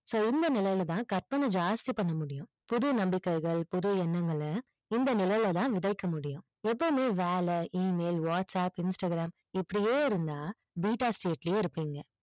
so இந்த நிலைல தான் கற்பனை ஜாஸ்தி பண்ணமுடியும் புது நம்பிக்கைகள் புது எண்ணங்கள இந்த நிலைல தான் விதைக்க முடியும் எப்பவுமே வேல email whatsapp instagram இப்படியே இருந்தா beta state லியே இருபிங்க